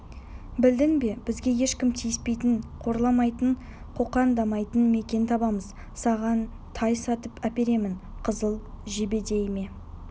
білдің бе бізге ешкім тиіспейтін қорламайтын қоқаңдамайтын мекен табамыз саған тай сатып әперемін қызыл жебедей ме